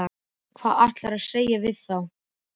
Hvað ætlarðu að segja við þá?